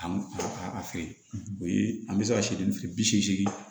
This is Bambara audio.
An ka a feere o ye an bɛ se ka sidi bi seegin